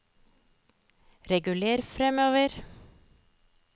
reguler framover